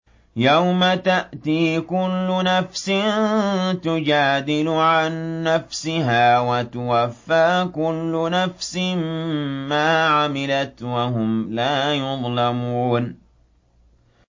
۞ يَوْمَ تَأْتِي كُلُّ نَفْسٍ تُجَادِلُ عَن نَّفْسِهَا وَتُوَفَّىٰ كُلُّ نَفْسٍ مَّا عَمِلَتْ وَهُمْ لَا يُظْلَمُونَ